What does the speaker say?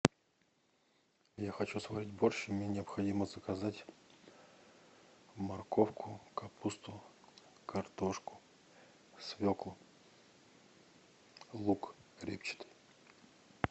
я хочу сварить борщ мне необходимо заказать морковку капусту картошку свеклу лук репчатый